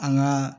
An ka